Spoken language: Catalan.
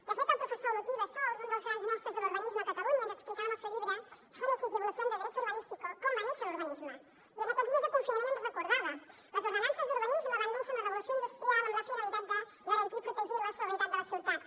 de fet el professor olotí bassols un dels grans mestres de l’urbanisme a catalunya ens explicava en el seu llibre génesis y evolución del derecho urbanístico com va néixer l’urbanisme i en aquests dies de confinament ho recordava les ordenances d’urbanisme van néixer amb la revolució industrial amb la finalitat de garantir i protegir la salubritat de les ciutats